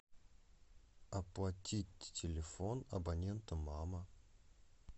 оплатить телефон абонента мама